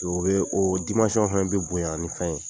O bɛ o dimansɔn fɛnɛ bɛ bonya ni fɛn ye